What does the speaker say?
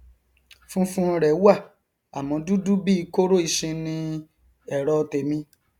funfun rẹ wà àmọ dúdú bíi kóró isin ni ẹrọ tèmi